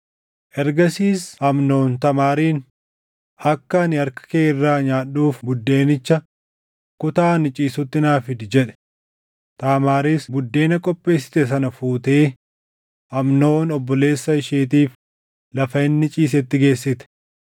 Ergasiis Amnoon Taamaariin, “Akka ani harka kee irraa nyaadhuuf buddeenicha kutaa ani ciisutti naa fidi” jedhe. Taamaaris buddeena qopheessite sana fuutee Amnoon obboleessa isheetiif lafa inni ciisetti geessite.